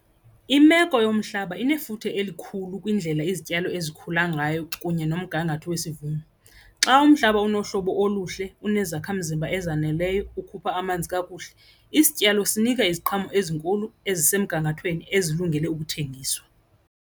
Imeko yomhlaba inefuthe elikhulu kwindlela izityalo ezikhula ngayo kunye nomgangatho wesivuno. Xa umhlaba unohlobo oluhle, unezakhamzimba ezaneleyo, okhupha amanzi kakuhle isityalo sinika iziqhamo ezinkulu ezisemgangathweni ezilungele ukuthengiswa.